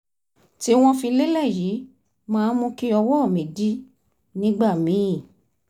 tí wọ́n fi lélẹ̀ yìí máa ń mú kí ọwọ́ mi dí nígbà míì